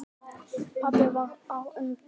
Pabbi varð á undan.